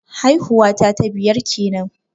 Haihuwa ta ta biyar kenan